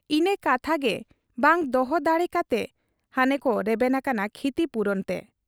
ᱤᱱᱟᱹ ᱠᱟᱛᱷᱟᱜᱮ ᱵᱟᱝ ᱫᱚᱦᱚ ᱫᱟᱲᱮ ᱠᱟᱛᱮ ᱦᱟᱱᱮᱠᱚ ᱨᱮᱵᱮᱱ ᱟᱠᱟᱱᱟ ᱠᱷᱤᱛᱤᱯᱩᱨᱚᱱ ᱛᱮ ᱾